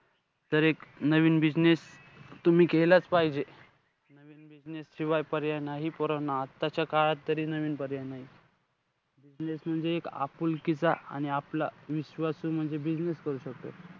तर एक नवीन business तुम्ही केलाचं पाहिजे. नवीन business शिवाय पर्याय नाही पोरांनो. आत्ताच्या काळात तरी नवीन पर्याय नाई. business म्हणजे एक आपुलकीचा आणि आपला विश्वासू म्हणजे business करू शकतो.